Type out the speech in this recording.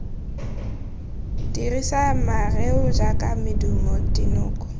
dirisa mareo jaaka medumo dinoko